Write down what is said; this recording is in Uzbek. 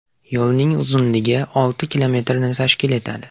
Yo‘lning uzunligi olti kilometrni tashkil etadi.